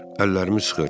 Əllərimi sıxır.